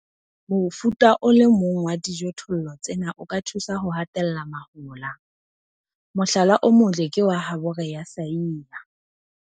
Mofuta o le mong wa dijothollo tsena o ka thusa ho hatella mahola. Mohlala o motle ke wa habore ya Saia.